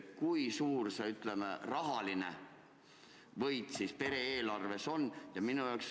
Kui suur see, ütleme, rahaline võit siis pere eelarves on?